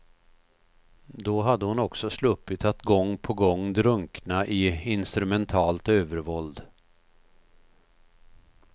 Då hade hon också sluppit att gång på gång drunkna i instrumentalt övervåld.